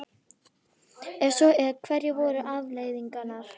Ef svo er, hverjar voru afleiðingarnar?